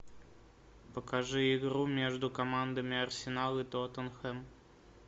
покажи игру между командами арсенал и тоттенхэм